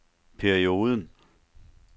perioden